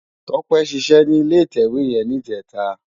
Tope ṣiṣè ni ilé itèwé yèn nijètá